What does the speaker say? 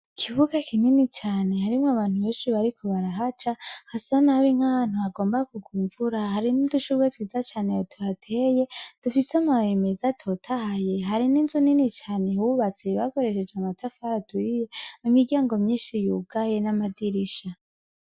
Ikibuga kinini cane harimwo abantu benshi bariko barahaca. Hasa nabi nk'ahantu hagomba kugwa imvura hari n'udushugwe twiza cane tuhateye dufise amababi meza atotahaye hari n'inzu nini cane yubatse bakoresheje amatafari aturiye imiryango myinshi yugaye n'amadirisha.